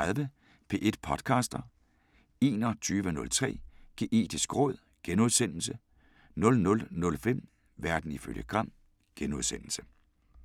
20:30: P1 podcaster 21:03: Geetisk råd * 00:05: Verden ifølge Gram *